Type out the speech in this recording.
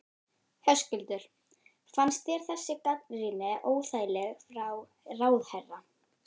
Höskuldur: Fannst þér þessi gagnrýni óþægileg frá ráðherra?